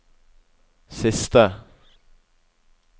siste